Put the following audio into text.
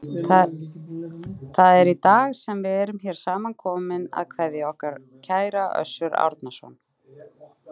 Það er í dag sem við erum hér samankomin að kveðja okkar kæra Össur Árnason.